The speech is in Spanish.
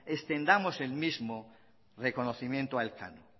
extendamos el mismo reconocimiento a elcano